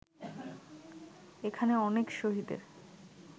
এখানে অনেক শহীদের